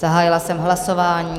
Zahájila jsem hlasování.